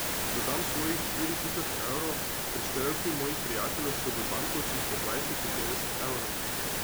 Dodam svojih štiri tisoč evrov, prispevki mojih prijateljev so v bankovcih po dvajset in petdeset evrov.